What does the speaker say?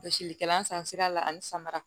Gosilikɛla san sira la ani samara